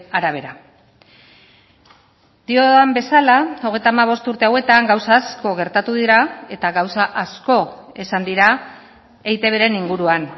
arabera diodan bezala hogeita hamabost urte hauetan gauza asko gertatu dira eta gauza asko esan dira eitbren inguruan